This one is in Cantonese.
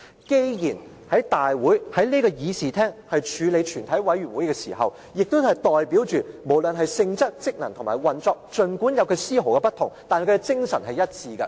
既然我們是在這議事廳處理全體委員會的事務，代表了無論是性質、職能和運作，儘管有絲毫不同，但精神是一致的。